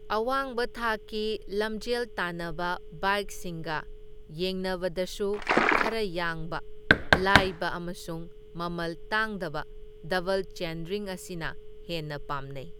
ꯑꯋꯥꯡꯕ ꯊꯥꯛꯀꯤ ꯂꯝꯖꯦꯜ ꯇꯥꯟꯅꯕ ꯕꯥꯏꯛꯁꯤꯡꯒ ꯌꯦꯡꯅꯕꯗꯁꯨ ꯈꯔ ꯌꯥꯡꯕ, ꯂꯥꯏꯕ ꯑꯃꯁꯨꯡ ꯃꯃꯜ ꯇꯥꯡꯗꯕ ꯗꯕꯜ ꯆꯦꯟꯔꯤꯡ ꯑꯁꯤꯅ ꯍꯦꯟꯅ ꯄꯥꯝꯅꯩ꯫